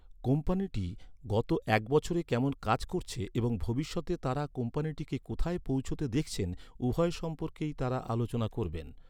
কোম্পানিটি গত এক বছরে কেমন কাজ করেছে এবং ভবিষ্যতে তাঁরা কোম্পানিটিকে কোথায় পৌঁছতে দেখছেন উভয় সম্পর্কেই তাঁরা আলোচনা করবেন।